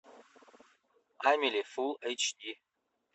амели фул эйч ди